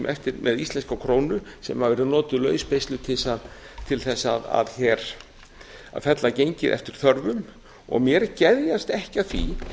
eftir með íslenska krónu sem eru notuð lausbeisluð til þess að fella gengið eftir þörfum og mér geðjast ekki að því